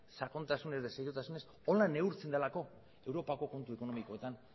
sakontasunez eta seriotasunez horrela neurtzen delako europako kontu ekonomikoetan